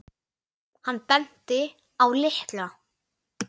Hann benti á lykla.